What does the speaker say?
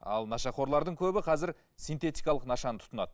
ал нашақорларды көбі қазір синтетикалық нашаны тұтынады